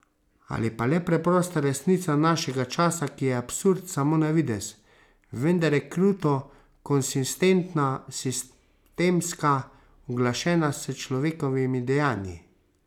Ali pa le prosta resnica našega časa, ki je absurd samo na videz, vendar je kruto konsistentna, sistemska, uglašena s človekovimi dejanji.